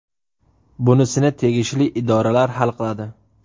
Bunisini tegishli idoralar hal qiladi.